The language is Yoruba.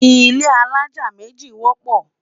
ilé alájá méjì wọpọ